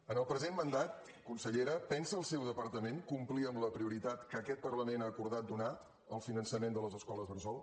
en el present mandat consellera pensa el seu departament complir amb la prioritat que aquest parlament ha acordat donar al finançament de les escoles bressol